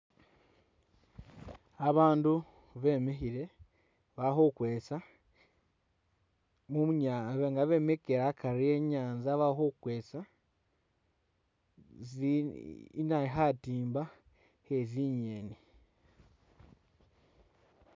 Abandu bemikhile balikhukhwesa munya nga bemikhile akari e'nyanza balikhukhwesa bi na khatimba khe zingeni